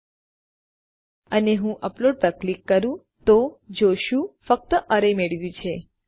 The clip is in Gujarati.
જ્યારે આપણે તે કરીએ અને હું અપલોડ પર ક્લિક કરું તો આપણે જોશું આપણે ફક્ત અરે મેળવ્યું છે